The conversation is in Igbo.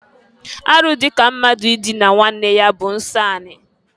Arụ dị ka mmadụ idina nwanne ya bụ nsọ anị.